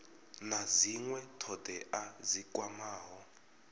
na dzinwe thodea dzi kwamaho